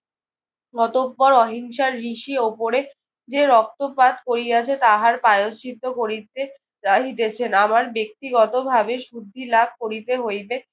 অতঃপর অহিংসার ঋষি ওপরে যে রক্তপাত করিয়াছে তাহার প্রায়শ্চিত করিতে চাহিতেছেন। আমার ব্যক্তিগতভাবে শুদ্ধি লাভ করিতে হইবে।